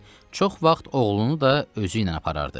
Çox vaxt oğlunu da özü ilə aparardı.